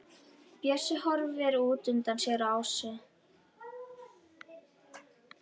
Bjössi horfir útundan sér á Ásu.